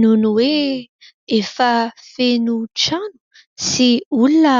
Noho ny hoe efa feno trano sy olona